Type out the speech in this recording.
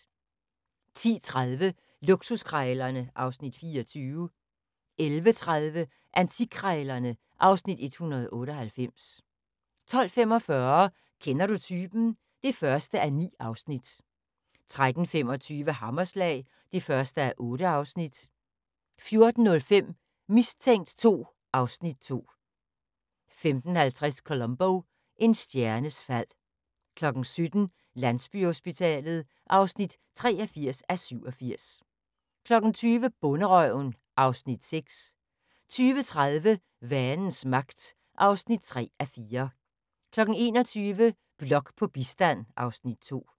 10:30: Luksuskrejlerne (Afs. 24) 11:30: Antikkrejlerne (Afs. 198) 12:45: Kender du typen? (1:9) 13:25: Hammerslag (1:8) 14:05: Mistænkt 2 (Afs. 2) 15:50: Columbo: En stjernes fald 17:00: Landsbyhospitalet (83:87) 20:00: Bonderøven (Afs. 6) 20:30: Vanens Magt (3:4) 21:00: Blok på bistand (Afs. 2)